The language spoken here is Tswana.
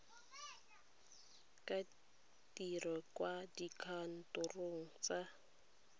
ka dirwa kwa dikantorong tsa